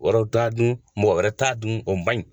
Waraw t'a dun mɔgɔ yɛrɛ t'a dun o ma ɲi.